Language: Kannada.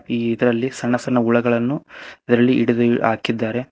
ಈ ಇದ್ರಲ್ಲಿ ಸಣ್ಣಸಣ್ಣ ಹುಳುಗಳನ್ನು ಇದ್ರಲ್ಲಿ ಹಿಡ್ದಿ ಹಾಕಿದ್ದಾರೆ.